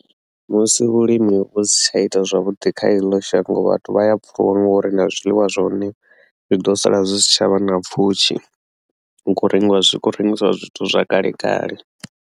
Musi vhulimi vhu si tsha ita zwavhuḓi kha eḽo shango vhathu vha ya pfhuluwa ngori na zwiḽiwa zwone zwi ḓo sala zwi si tsha vha na pfhushi hu kho rengiwa zwi hu kho rengisiwa zwithu zwa kale kale.